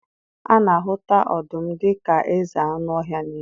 A na-ahụta ọdụm dị ka eze anụ ọhịa nile.